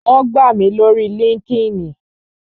Wón gbà mí lórii líńki-inì